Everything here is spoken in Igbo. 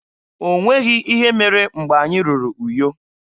O nweghị ihe mere mgbe anyị ruru Uyo.